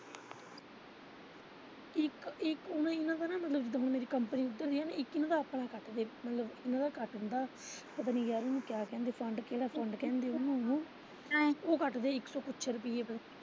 ਇੱਕ ਉਨੂੰ ਇਦਾ ਦਾ ਮਤਲਬ ਮੇਰੀ ਨਾ ਕੰਪਨੀ ਉੱਧਰ ਇੱਕ ਇਹਨਾਂ ਦਾ ਆਪਣਾ ਕੱਟਦੇ ਮਤਲਬ ਉਹਨਾਂ ਦਾ ਨਾ ਕੱਟ ਦੇ ਉਨੂੰ ਕੀ ਕਹਿੰਦੇ ਪਤਾ ਨੀ ਯਾਰ ਉਹਨੂੰ ਕਿਆ ਕਹਿੰਦੇ ਕਿਹੜਾ ਫੰਡ ਕਹਿੰਦੇ ਉਹਨੂੰ ਹੁਣ ਉਹ ਕੱਟਦੇ ਇੱਕ ਕ ਕੁਸ਼ ਰੁਪਈਏ ਦਾ।